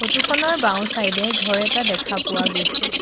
Photo খনৰ বাওঁ side এ ঘৰ এটা দেখা পোৱা গৈছে।